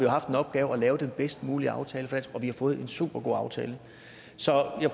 har haft den opgave at lave den bedst mulige aftale for at vi får en supergod aftale så jeg